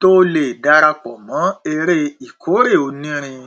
tó lè dara pọ mọ eré ìkórè onírin